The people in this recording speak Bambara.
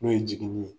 N'o ye jigini ye